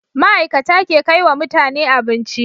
Ma'ikata ke kaiwa mutane abinci